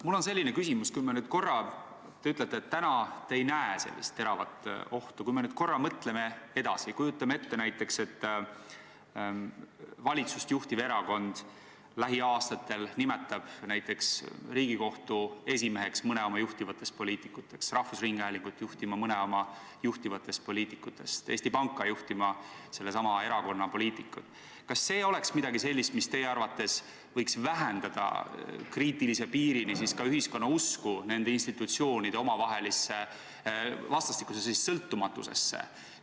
Mul on selline küsimus: kui me nüüd korra mõtleme edasi – te ütlete, et te ei näe praegu teravat ohtu – ja kujutame ette, et valitsust juhtiv erakond nimetab lähiaastatel näiteks Riigikohtu esimeheks mõne oma juhtivatest poliitikutest, rahvusringhäälingut juhtima mõne oma juhtivatest poliitikutest, Eesti Panka juhtima sellesama erakonna poliitikud, siis kas see oleks midagi sellist, mis teie arvates võiks vähendada kriitilise piirini ka ühiskonna usku nende institutsioonide omavahelisse vastastikusesse sõltumatusesse?